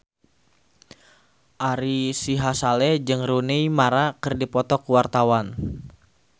Ari Sihasale jeung Rooney Mara keur dipoto ku wartawan